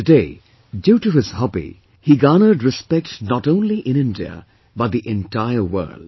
Today, due to this hobby, he garnered respect not only in India but the entire world